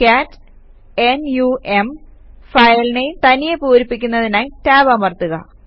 കാട്ട് n u m file name തനിയെ പൂരിപ്പിക്കുന്നതിനായി tab അമർത്തുക